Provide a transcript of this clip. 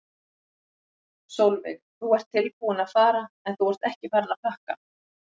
Sólveig: Þú ert tilbúinn að fara en þú ert ekki farinn að pakka?